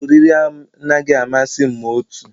Ụlọ oriri anaghị amasị m ma otu